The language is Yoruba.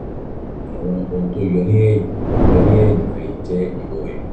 àwọn ohun tó yọ ní ẹ̀yìn yọ ní ẹ̀yìn rẹ yìí jẹ́ irorẹ̀